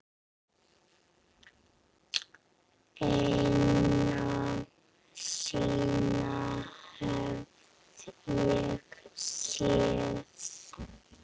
Eina sýn hef ég séð.